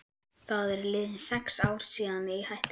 Það eru liðin sex ár síðan ég hætti.